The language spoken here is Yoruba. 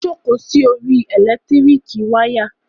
Ó jókòó sí orí ẹ̀lẹ́tíríkì wayà.